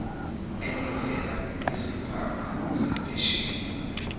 elivela kwisikhwama sempesheni